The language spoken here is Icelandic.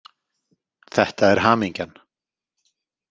Þetta er hamingjan.